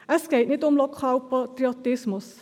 Es geht nicht um Lokalpatriotismus.